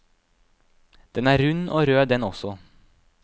Den er rund og rød den også.